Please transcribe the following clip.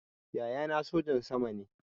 Yaya na sojan sama ne